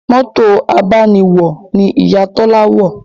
Mọ́tò abániwọ̀ ni Ìyá Tọ́lá wọ̀